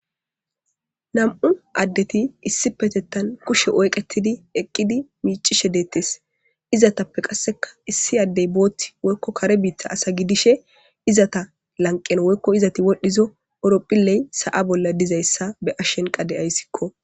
nam'u addeti issipetettan kushe oyqetidi eqqidi miicishe deettes izatappe qasseka issi addey boothti woykko kare biitta asa gidishe izata lanqen woykko izati wodhdhizo oropphilley sa'a bolla dizayssa be'ashenka de'assikko